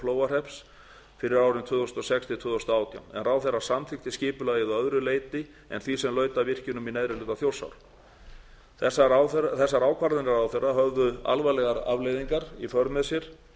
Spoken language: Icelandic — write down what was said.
flóahrepps fyrir árin tvö þúsund og sex til tvö þúsund og átján en ráðherra samþykkti skipulagið að öðru leyti en því sem laut að virkjunum í neðri hluta þjórsár þessar ákvarðanir ráðherra höfðu alvarlegar afleiðingar í för með sér